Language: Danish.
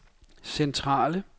centrale